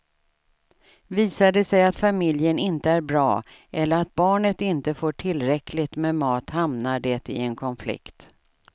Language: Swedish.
Visar det sig att familjen inte är bra eller att barnet inte får tillräckligt med mat hamnar det i en konflikt.